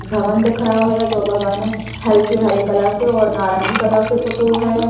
भवन दिख रहो है जो भवन हल्के हरे कलर से और नारंगी कलर से पुतो है।